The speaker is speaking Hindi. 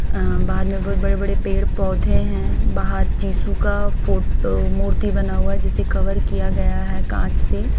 अं बाहर में बहोत बड़े बड़े पेड़ पौधे हैं बाहर जीसू का फोटो मूर्ति बना हुआ है जिसे कवर किया गया है कांच से।